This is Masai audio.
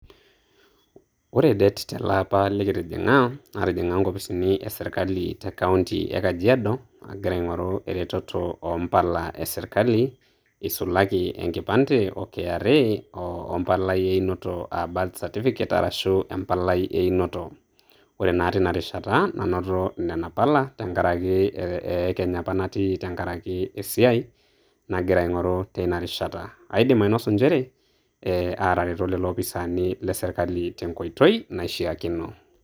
Ore det telaapa likitijing'a, natijing'a inkopisini esirkali te kaunti e kajiado agira aing'oru eretoto o mpala esirkali eisulaki enkipande o kra wempalai einoto ah birth certificate arashu empalai einoto. Ore naa teinarishata, nanoto nena pala tenkaraki eh eekeny apa natii tenkaraki esiai nagira ang'oru teinarishata. Aidim ainosu njere, eh aatareto lelo ofisani le sirkali tenkoitoi naishaakino.